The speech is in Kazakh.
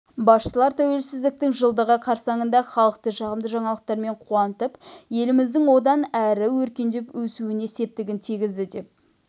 басшылар тәуелсіздіктің жылдығы қарсаңында халықты жағымды жаңалықтарымен қуантып еліміздің одан әрі өркендеп-өсуіне септігін тигізеді деп